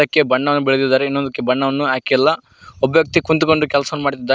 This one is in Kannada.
ಕ್ಕೆ ಬಣ್ಣವನ್ನು ಬಳೆದಿದ್ದಾರೆ ಇನ್ನೊಂದುಕ್ಕೆ ಬಣ್ಣವನ್ನು ಹಾಕಿಲ್ಲ ವ್ಯಕ್ತಿ ಕುಂತ್ಕೊಂಡು ಕೆಲಸ ಮಾಡುತ್ತಿದ್ದೇ--